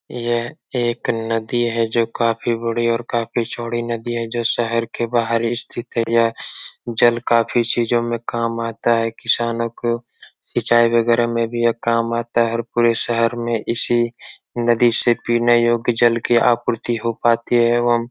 यह एक नदी है जो काफी बड़ी और जो काफी चोडी नदी है जो शहर के बाहर स्थित है। यह जल काफी चीजो मे काम आता है। किसानो को खिचाई वगेरा मे भी यह काम आता है और पूरे शहर इसी नदी से पीने योग्य जल की आपूर्ति हो पाती है एवम --